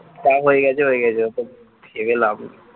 তাও হয়ে গেছে হয়ে গেছে অত ভেবে লাভ নেই